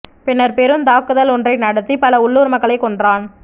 பின்னர் பெருந்தாக்குதல் ஒன்றை நடத்திப் பல உள்ளூர் மக்களைக் கொன்றான்